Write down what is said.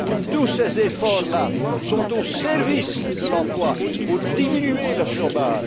fruits. Tous ces efforts sont au service de l'emploi, pour diminuer le